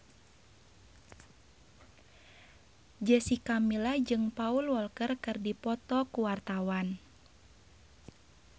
Jessica Milla jeung Paul Walker keur dipoto ku wartawan